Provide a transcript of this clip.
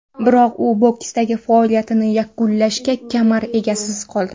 Biroq u boksdagi faoliyatini yakunlagach, kamar egasiz qoldi.